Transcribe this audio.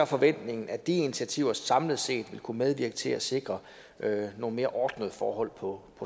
forventningen at de initiativer samlet set vil kunne medvirke til at sikre nogle mere ordnede forhold på